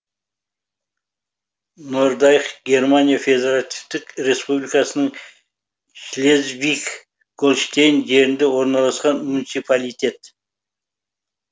нордайх германия федеративтік республикасының шлезвиг гольштейн жерінде орналасқан муниципалитет